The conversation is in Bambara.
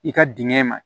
I ka dingɛ ma